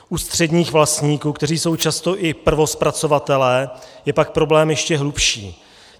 U středních vlastníků, kteří jsou často i prvozpracovateli, je pak problém ještě hlubší.